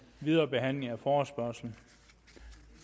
videre behandling af forespørgslen